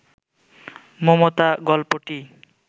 মমতা গল্পটি